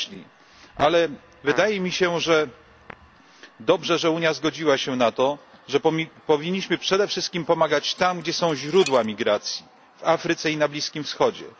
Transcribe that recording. Jednak wydaje mi się, że dobrze się stało, iż Unia zgodziła się na to, i że powinniśmy przede wszystkim pomagać tam, gdzie są źródła migracji w Afryce i na Bliskim Wschodzie.